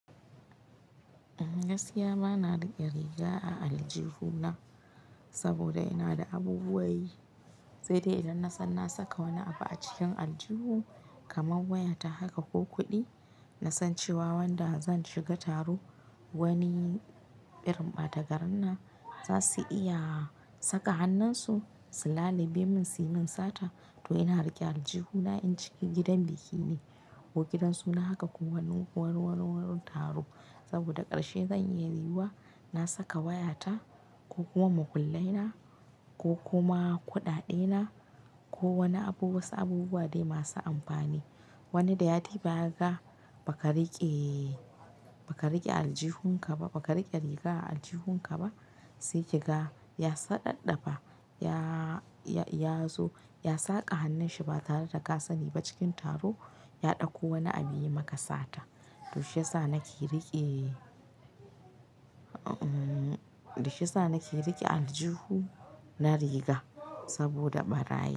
Gaskiya bana riƙe riga a aljihuna saboda ina da abubuwa yi. Sai dai idan nasan na saka wani abu a cikin aljihu kamar wayata haka ko kuɗi, na san cewa wanda zan shiga taro wani irin ɓata garin nan za su iya saka hannunsu, su lalube ni, su yi mun sata. To ina riƙe aljihuna in shiga gidan biki ne ko gidan suna haka ko wani warwaro taro. Saboda ƙarshe zai iya yiwuwa na saka wayata ko kuma makullai na ko kuma kuɗaɗe na ko wani abu wasu abubuwa dai masu amfani. Wani da ya duba ya ya ga ba ka riƙe, ba ka riƙe aljihun ka ba, ba ka riƙe riga a aljihun ka ba. Sai ki ga ya saɗaɗɗafa, ya zo ya sa ka hannunshi ba tare da ka sani ba cikin taro ya ɗauko wani abu yayi maka sata. To shi ya sa nake riƙe, shi yasa nake riƙe aljihu na riga saboda ɓarayi.